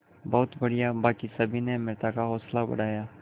बहुत बढ़िया बाकी सभी ने अमृता का हौसला बढ़ाया